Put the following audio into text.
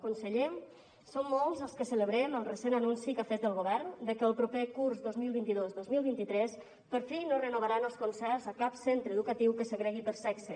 conseller som molts els que celebrem el recent anunci que ha fet el govern de que el proper curs dos mil vint dos dos mil vint tres per fi no renovaran els concerts a cap centre educa tiu que segregui per sexe